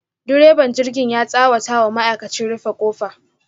direban jirgin ya tsawata wa ma'aikachi, rufe kofa.